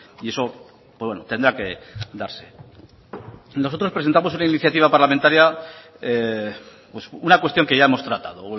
y eso tendrá que darse nosotros presentamos una iniciativa parlamentaria una cuestión que ya hemos tratado